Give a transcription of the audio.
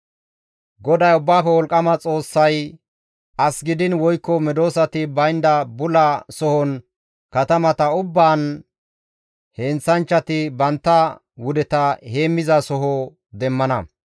GODAY Ubbaafe Wolqqama Xoossay, «As gidiin woykko medosati baynda bula sohon katamata ubbaan heenththanchchati bantta wudeta heemmizasoho demmana.